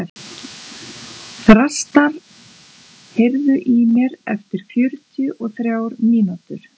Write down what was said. Þrastar, heyrðu í mér eftir fjörutíu og þrjár mínútur.